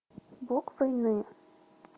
бог войны